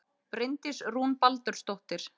Bryndís Rún Baldursdóttir